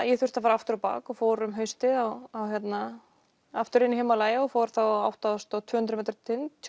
ég þurfti að fara aftur á bak og fór haustið aftur inn í Himalaja og fór þá á átta þúsund tvö hundruð metra tind